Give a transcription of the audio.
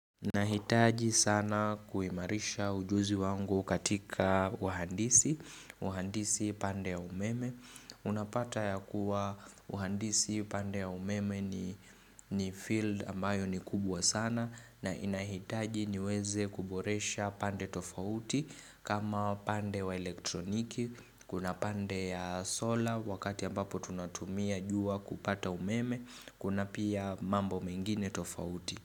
Nahitaji sana kuimarisha ujuzi wangu katika wahandisi, wahandisi pande ya umeme, unapata ya kuwa wahandisi pande ya umeme ni field ambayo ni kubwa sana na inahitaji niweze kuboresha pande tofauti kama pande wa elektroniki, kuna pande ya solar wakati ambapo tunatumia jua kupata umeme, kuna pia mambo mengine tofauti.